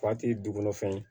duguma fɛn ye